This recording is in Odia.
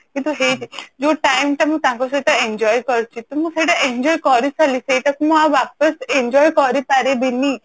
କିନ୍ତୁ ହେଇଛି ଯୋଉ time ଟା ମୁଁ ତାଙ୍କ ସହିତ enjoy କରୁଛି ତ ମୁଁ ସେଇଟାକୁ enjoy କରି ସାରିଲି ମୁଁ ଆଉ ୱାପସ enjoy କରି ପାରିବିନି